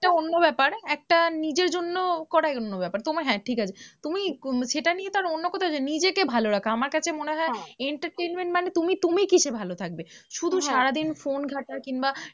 এটা অন্য ব্যাপার একটা নিজের জন্য করা অন্য ব্যাপার, হ্যাঁ ঠিক আছে, তুমি সেটা নিয়ে তো আর অন্য কোথাও যাবে না, নিজেকে ভালো রাখা আমার কাছে মনে হয় entertainment মানে তুমি তুমি কিসে ভালো থাকবে, শুধু সারাদিন ফোন ঘাঁটা কিংবা